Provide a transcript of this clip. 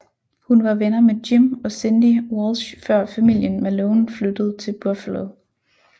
Hun var venner med Jim og Cindy Walsh før familien Malone flyttede til Buffalo